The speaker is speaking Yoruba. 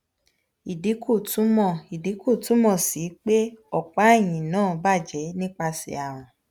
idinku tumọ idinku tumọ si pe opa ehin na baje nipase arun